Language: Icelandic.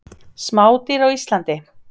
Smádýr á Íslandi.